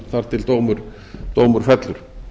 þar til dómur fellur